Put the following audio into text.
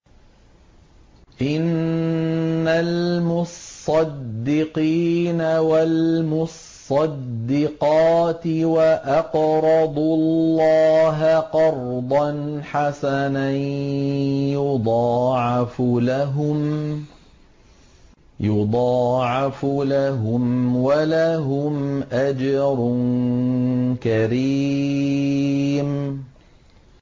إِنَّ الْمُصَّدِّقِينَ وَالْمُصَّدِّقَاتِ وَأَقْرَضُوا اللَّهَ قَرْضًا حَسَنًا يُضَاعَفُ لَهُمْ وَلَهُمْ أَجْرٌ كَرِيمٌ